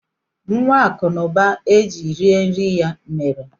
Nwa Akụ na ụba e ji rie nri ya mere?